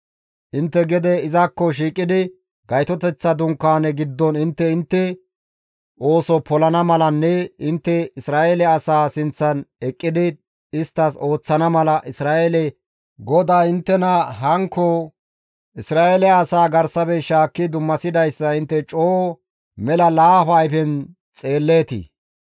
Intte gede izakko shiiqidi Gaytoteththa Dunkaane giddon intte intte ooso polana malanne intte Isra7eele asaa sinththan eqqidi isttas ooththana mala Isra7eele GODAY inttena hankko Isra7eele asaa garsafe shaakki dummasidayssa intte coo mela laafa ayfen xeelleetii!